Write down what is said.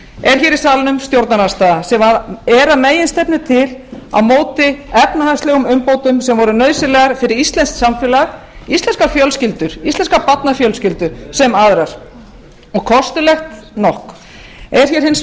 er í salnum stjórnarandstaða sem er að meginstefnu til á móti efnahagslegum umbótum sem voru nauðsynlegar fyrir íslenskt samfélag íslenskar fjölskyldur íslenskar barnafjölskyldur sem aðrar og kostulegt nokk einnig